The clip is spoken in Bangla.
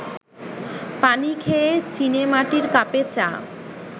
পানি খেয়ে চিনেমাটির কাপে চা